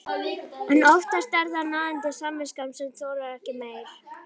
En oftast er það nagandi samviskan sem þolir ekki meir.